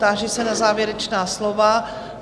Táži se na závěrečná slova.